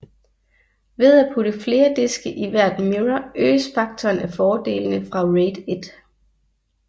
Ved at putte flere diske i hvert mirror øges faktoren af fordelene fra RAID 1